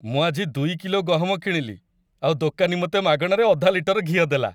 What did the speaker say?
ମୁଁ ଆଜି ଦୁଇ କିଲୋ ଗହମ କିଣିଲି ଆଉ ଦୋକାନୀ ମତେ ମାଗଣାରେ ଅଧା ଲିଟର ଘିଅ ଦେଲା ।